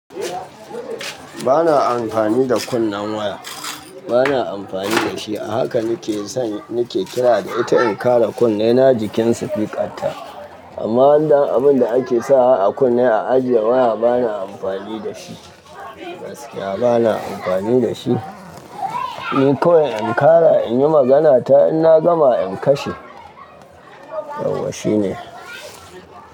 Ba na amfani da kunnen waya. Ba na amfani da shi. A haka ni ke son, ni ke kira da ita in ƙara kunne na jikin sifikan ta. Amma wandan abun da ake sawa a kunne a ajiye waya ba na amfani da shi. Gaskiya ba na amfani da shi. Ni ko in ƙara in yi magana ta in na gama in kashe. Yawwa shi ne.